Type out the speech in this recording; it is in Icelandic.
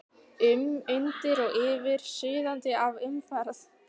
um, undir og yfir, suðandi af umferð.